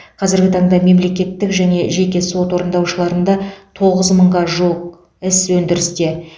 қазіргі таңда мемлекеттік және жеке сот орындаушыларында тоғыз мыңға жуық іс өндірісте